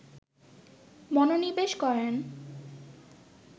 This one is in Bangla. মনোনিবেশ করেন